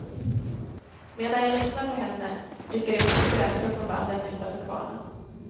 Medan jag lyssnar på henne, rycker jag upp ett grässtrå från vallen utanför kvarnen.